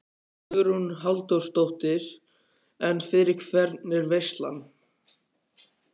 Hugrún Halldórsdóttir: En fyrir hvern er veislan?